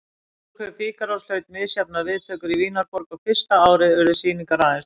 Brúðkaup Fígarós hlaut misjafnar viðtökur í Vínarborg og fyrsta árið urðu sýningar aðeins níu.